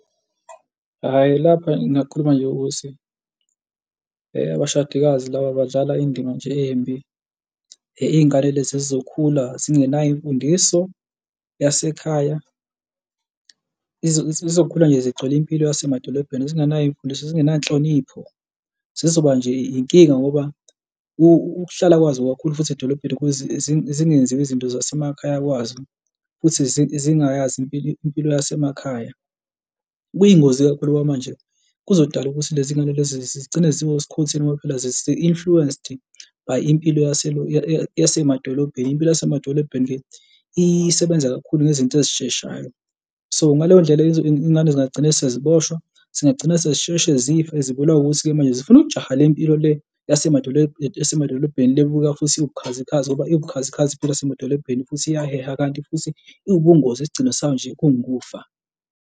Hhayi lapha ngingakhuluma nje ukuthi abashadikazi laba badlala indima nje embi, iy'ngane lezi zizokhula zingenayo imfundiso yasekhaya, zizokhula nje zigcwele impilo yasemadolobheni zingenayo imfundiso zingena nhlonipho, zizoba nje inkinga ngoba ukuhlala kwazo kakhulu futhi edolobheni zingenziwa izinto zasemakhaya kwazo futhi zingayazi impilo, impilo yasemakhaya, kuyingozi kakhulu ngoba phela manje kuzodala ukuthi lezi ngane lezo zigcine ziwe skhotheni ngoba phela zi-influenced by impilo yasemadolobheni, impilo yasemadolobheni isebenza kakhulu ngezinto ezisheshayo. So, ngaleyo ndlela iy'ngane zingagcina seziboshwa zingagcina sezisheshe zifa zibulawa ukuthi-ke manje zifuna ukujaha le mpilo le yasemadolobheni le ebukeka futhi uwubukhazikhazi ngoba iwubukhazikhazi impilo yasemadolobheni futhi iyaheha kanti futhi iwubungozi isigcino sayo nje kungukufa.